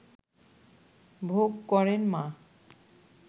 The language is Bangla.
ভোগ করেন মা